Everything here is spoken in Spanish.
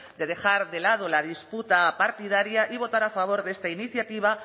de dejar de lado la disputa partidaria y votar a favor de esta iniciativa